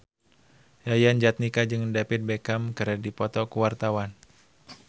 Yayan Jatnika jeung David Beckham keur dipoto ku wartawan